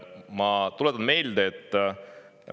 Ma tuletan meelde, et…